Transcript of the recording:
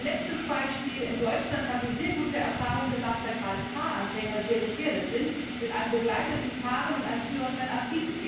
Und ein letztes Beispiel In Deutschland haben wir sehr gute Erfahrungen gemacht, da gerade Fahranfänger sehr gefährdet sind, mit einem begleiteten Fahren und einem Führerschein ab